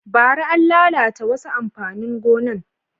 Bara, an lalata wasu amfanin gonan